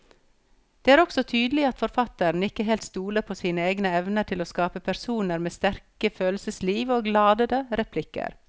Det er også tydelig at forfatteren ikke helt stoler på sine egne evner til å skape personer med sterke følelsesliv og ladete replikker.